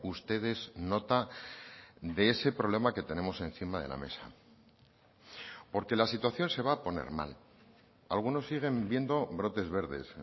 ustedes nota de ese problema que tenemos encima de la mesa porque la situación se va a poner mal algunos siguen viendo brotes verdes